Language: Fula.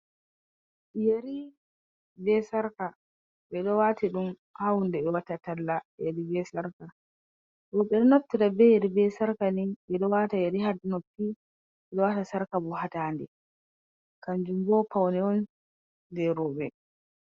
Yeeri be saarka ɓeɗo waatiɗum ha hunde ɓe watta talla yeeri be saarka. Rouɓe ɗon naftira yeeri be saarka ni ɓeɗo waata yeeri ha noppi, ɓe waata Sarkabo ha dandee, kaanjumbo paune'on jee rouɓe.